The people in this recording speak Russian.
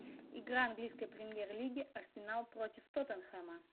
игра английской премьер лиги арсенал против тоттенхэма